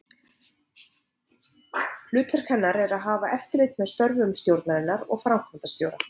Hlutverk hennar er að hafa eftirlit með störfum stjórnar og framkvæmdastjóra.